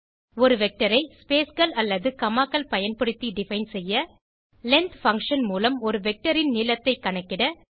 ஒரு வெக்டர் ஐ spaceகள் அல்லது commaகளை பயன்படுத்தி டிஃபைன் செய்ய length பங்ஷன் மூலம் ஒரு வெக்டர் ன் நீளத்தை கணக்கிட